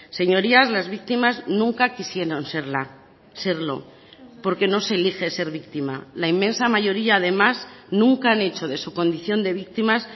señorías las víctimas nunca quisieron serla serlo porque no se elige ser víctima la inmensa mayoría además nunca han hecho de su condición de víctimas